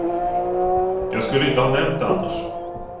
Jag skulle inte ha nämnt det annars.